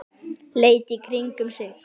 Leit í kringum sig.